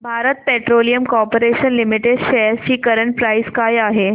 Bharat petroleum corporation limited shares ची current price काय आहे